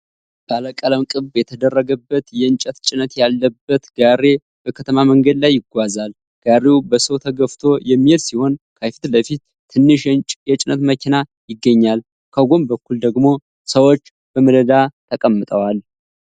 ባለቀለም ቅብ የተደረገበት የእንጨት ጭነት ያለበት ጋሪ በከተማ መንገድ ላይ ይጓዛል። ጋሪው በሰው ተገፍቶ የሚሄድ ሲሆን፣ ከፊት ለፊቱ ትንሽ የጭነት መኪና ይገኛል። ከጎን በኩል ደግሞ ሰዎች በመደዳ ተቀምጠዋል።